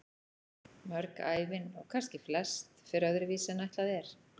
Mörg ævin, og kannski flest, fer öðru vísi en ætlað er.